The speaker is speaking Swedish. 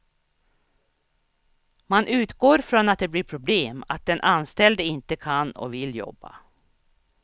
Man utgår från att det blir problem, att den anställde inte kan och vill jobba.